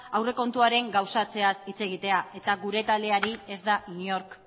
aurrekontuaren gauzatzeaz hitz egitea eta gure taldeari ez da inork